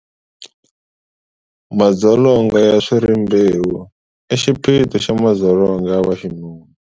Madzolonga ya swa rimbewu i xiphiqo xa madzolonga ya vaxinuna.